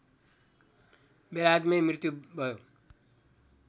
बेलायतमै मृत्यु भयो